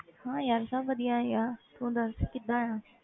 ਹਾਂ ਯਾਰ ਸਭ ਵਧੀਆ ਹੀ ਆ ਤੂੰ ਦੱਸ ਕਿੱਦਾਂ ਆਂ।